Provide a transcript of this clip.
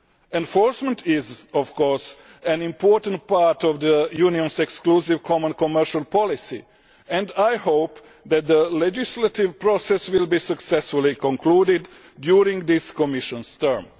Enforcement is, of course, an important part of the Union's exclusive common commercial policy, and I hope that the legislative process will be successfully concluded during this Commission's term.